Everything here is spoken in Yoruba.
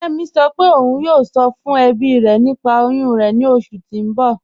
Kẹmi sọ́ pé ọ̀un yóò sọ̀ fún ẹ̀bí rẹ̀ nípà oyún rẹ̀ ni oṣù tí n bọ̀.